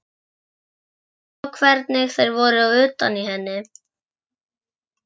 Jú jú, sjá hvernig þeir voru utan í henni.